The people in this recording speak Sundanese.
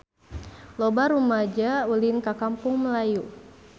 Loba rumaja ulin ka Kampung Melayu